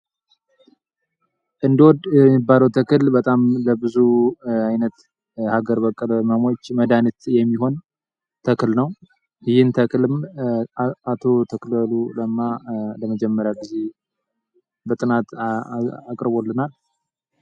እንዶድ የሚባለው ተክል ለብዙ አገር በቀለ ህመሞች መድኃኒት የሚሆን ተክል ነው ይህም ተክል ዶክተር አክሊሉ በጥናት አቅርቦልና።